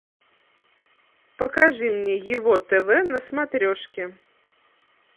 покажи мне его тв на смотрешке